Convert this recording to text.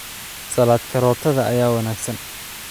Salad karootada ayaa wanaagsan.